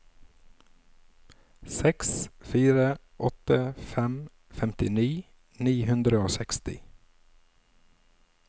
seks fire åtte fem femtini ni hundre og seksti